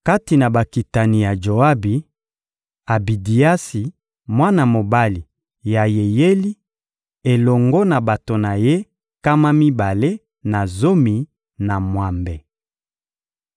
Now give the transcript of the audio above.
Kati na bakitani ya Joabi: Abidiasi, mwana mobali ya Yeyeli, elongo na bato na ye nkama mibale na zomi na mwambe.